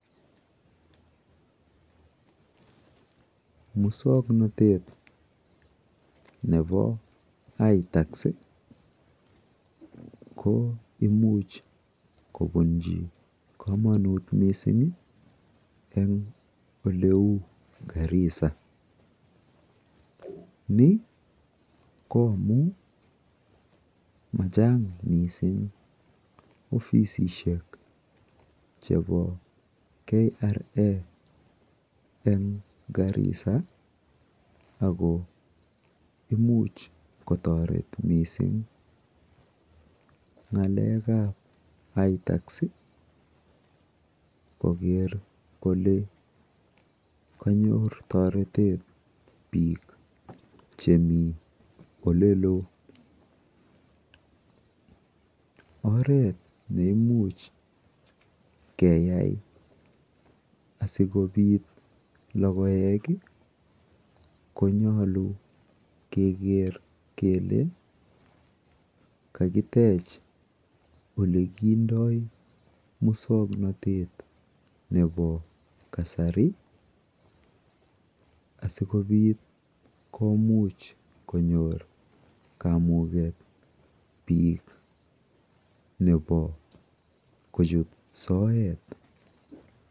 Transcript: Muswoknotet nepo itax ko imuch kopunchi kamanut missing' en ole u Garissa. Ni ko amu ma chang' missing' ofisishek chepo KRA en Garissa ako imuch kotaret missing' ng'alek ap itax koker kole kanyor taretet piik che mi ole loo. Oret ne imuch keyai asikopit logoek konyalu keker kele kakitech ole kindai muswoknotet nepo kasari asikopit komuch konyor kamugey piik nepo kochit soet .